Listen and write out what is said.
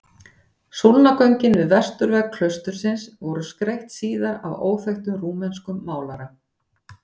Súlnagöngin við vesturvegg klaustursins voru skreytt síðar af óþekktum rúmenskum málara.